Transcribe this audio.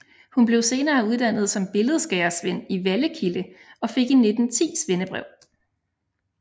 Hun blev senere uddannet som billedskærersvend i Vallekilde og fik i 1910 svendebrev